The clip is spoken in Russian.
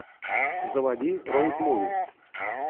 заводи роуд муви